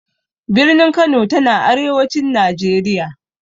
Birnin Kano ta na arewacin Najeriya.